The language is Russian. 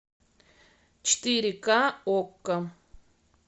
четыре ка окко